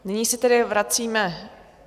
Nyní se tedy vracíme...